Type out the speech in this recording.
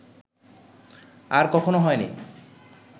আর কখনো হয় নি